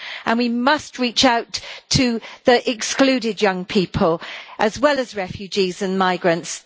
And we must reach out to the excluded young people as well as refugees and migrants.